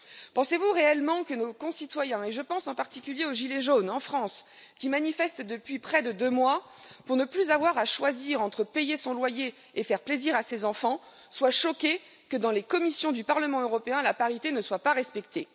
Pensez vous réellement que nos concitoyens et je pense en particulier aux gilets jaunes, en France, qui manifestent depuis près de deux mois pour ne plus avoir à choisir entre payer son loyer et faire plaisir à ses enfants soient choqués que dans les commissions du Parlement européen la parité ne soit pas respectée